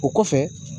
O kɔfɛ